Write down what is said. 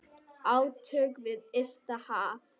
Átök við ysta haf.